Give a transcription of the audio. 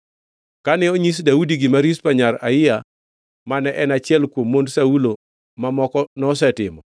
Kane onyis Daudi gima Rizpa nyar Aiya mane en achiel kuom mond Saulo mamoko, nosetimo,